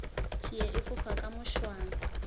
tšie e fofa ka mošwang